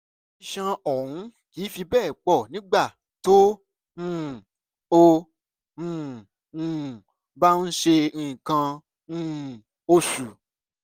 ìṣàn ọ̀hún kìí fi bẹ́ẹ̀ pọ̀ nígbà tó um o um um bá ń ṣe nǹkan um oṣù